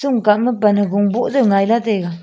shon kah ma pan hagong boh jao ngaih la taga.